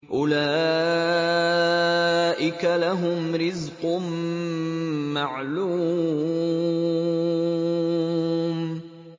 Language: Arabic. أُولَٰئِكَ لَهُمْ رِزْقٌ مَّعْلُومٌ